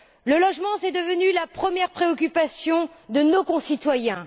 Le logement est devenu la première préoccupation de nos concitoyens.